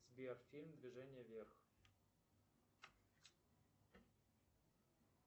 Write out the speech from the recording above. сбер фильм движение вверх